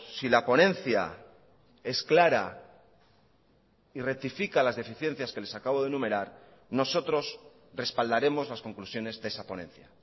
si la ponencia es clara y rectifica las deficiencias que les acabo de enumerar nosotros respaldaremos las conclusiones de esa ponencia